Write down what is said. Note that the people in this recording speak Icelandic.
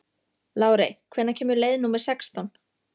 Lárey, hvenær kemur leið númer sextán?